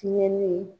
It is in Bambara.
Fiɲɛ ni